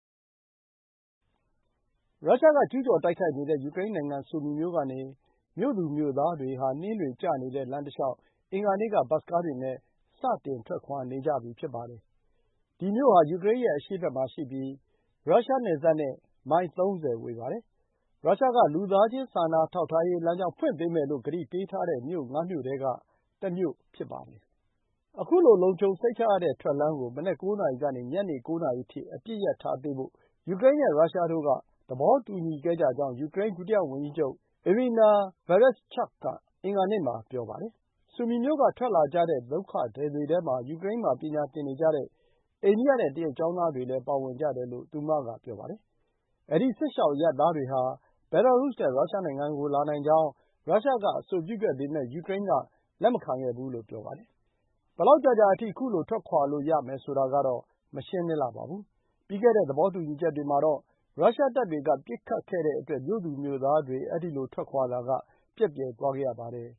ရုရှားက ကျူးကျော်တိုက်ခိုက်နေတဲ့ ယူကရိန်းနိုင်ငံ ဆူမီမြို့ကနေ မြို့သူမြို့သားတွေဟာ နှင်းတွေကျနေတဲ့ လမ်းတလျှောက် အင်္ဂါနေ့က ဘတ်စ်ကားတွေနဲ့ စတင်ထွက်ခွါနေကြပြီ ဖြစ်ပါတယ်။ ဒီမြို့ဟာ ယူကရိန်းရဲ့ အရှေ့ဘက်မှာရှိပြီး ရုရှားနယ်စပ်နဲ့ မိုင် ၃၀ ဝေးပါတယ်။ ရုရှားက လူသားချင်းစာနာထောက်ထားရေး လမ်းကြောင်းဖွင့်ပေးမယ်လို့ ကတိပေးထားတဲ့ မြို့ငါးမြို့ထဲက တမြို့ဖြစ်ပါတယ်။ ခုလို လုံခြုံစိတ်ချရတဲ့ထွက်လမ်းကို မနက် ၉ နာရီကနေ ည ၉ နာရီအထိ အပစ်ရပ်ထားပေးဖို့ ယူကရိန်းနဲ့ ရုရှားတို့က သဘောတူညီခဲ့ကြကြောင်း ယူကရိန်းဒုတိယဝန်ကြီးချုပ် Iryna Vereshchuk အင်္ဂါနေ့မှာ ပြောပါတယ်။ ဆူမီ မြို့ကထွက်လာကြတဲ့ ဒုက္ခသည်တွေထဲမှာ ယူကရိန်းမှာ ပညာသင်ယူနေကြတဲ့ အိန္ဒိယနဲ့ တရုတ် ကျောင်းသားတွေလည်းပါဝင်ကြတယ်လို့ သူမက ပြောပါတယ်။ အဲဒီ စစ်ရှောင်အရပ်သားတွေဟာ ဘဲလာရုစ်နဲ့ရုရှားကိုလာနိုင်ကြောင်း ရုရှားကအဆိုပြုခဲ့ပေမယ့် ယူကရိန်းက လက်မခံခဲ့ဘူးလို့ ဆိုပါတယ်။ ဘယ်လောက်ကြာကြာအထိ ခုလိုထွက်ခွါလို့ ရမယ်ဆိုတာကတော့ မရှင်းလင်းလှပါဘူး။ ပြီးခဲ့တဲ့ သဘောတူညီချက်တွေမှာတော့ ရုရှားတပ်တွေက ပစ်ခတ်ခဲ့တဲ့အတွက် မြို့သူမြို့သားတွေ အဲဒီလို ထွက်ခွါတာက ပျက်ပျယ်သွားခဲ့ရပါတယ်